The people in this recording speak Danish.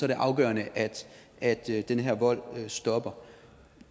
det afgørende at at den her vold stopper